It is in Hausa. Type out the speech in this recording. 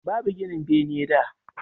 Babu ginin bene da